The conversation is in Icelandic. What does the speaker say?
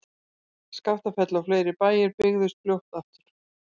Skaftafell og fleiri bæir byggðust fljótt aftur.